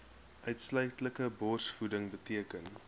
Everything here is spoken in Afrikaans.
uitsluitlike borsvoeding beteken